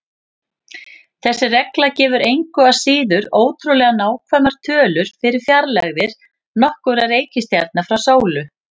Þessi regla gefur engu að síður ótrúlega nákvæmar tölur fyrir fjarlægðir nokkurra reikistjarna frá sólu.